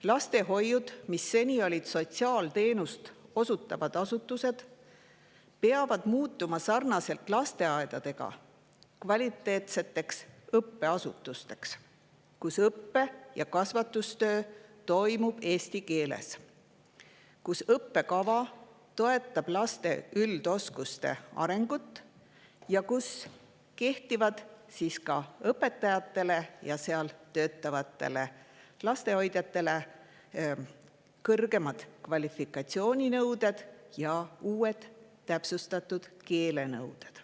Lastehoiud, mis on seni olnud sotsiaalteenust osutavad asutused, peavad muutuma lasteaiasarnasteks kvaliteetseteks õppeasutusteks, kus õppe- ja kasvatustöö toimub eesti keeles, õppekava toetab lapse üldoskuste arengut ja kus õpetajatele ja seal töötavatele lapsehoidjatele kehtivad kõrgemad kvalifikatsiooninõuded ja uued täpsustatud keelenõuded.